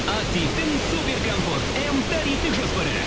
активтің супер комфорт м тарифтік жоспары